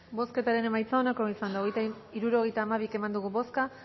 bozketaren emaitza onako izan da hirurogeita hamabi eman dugu bozka